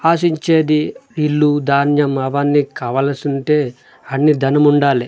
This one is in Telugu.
ఆశించేది ఇల్లు ధాన్యం అవన్నీ కవలసుంటే అన్నీ ధనం ఉండాలి.